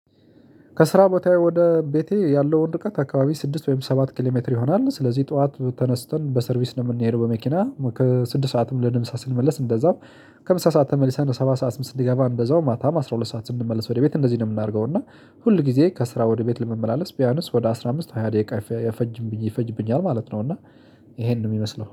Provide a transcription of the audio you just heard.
ከስራ ቦታዬ ወደ ቤቴ ያለው ርቀት ከአካባቢ ስድስት ወይም ሰባት ኪሌሜትር ይሆናል። ስለዚህ ጠዋት ተነስተን በሰርቪስ ነው የምንሄደው በመኪና ከስድስት ሰዓትም ለምሳ ስንመለስ እንደዛው ከምሳ ሰዓት ተመልሰን ሰባት ሰዓት ስ ስንገባ እንደዛው ማታም አስራ ሁለት ሰዓት ስንመስ ወደ ቤት እንደዚህ ነው የምናደርገው። እና ሁል ጊዜ ከስራ ወደ ቤት ለመመላለስ ቢያነስ ወደ አስራ አምስት ሃያ ደቂቃ አፈጅም ይፈጅብኛል ማለት ነው። እና ይሄንን ነው የሚመስለው